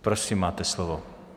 Prosím, máte slovo.